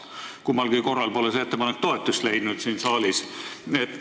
Kummalgi korral pole see ettepanek siin saalis toetust leidnud.